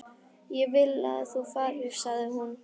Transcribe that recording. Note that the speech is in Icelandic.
Ég vil að þú farir, sagði hún.